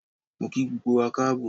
Mo kí gbogbo wa Káàbọ̀